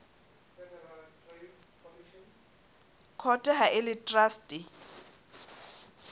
court ha e le traste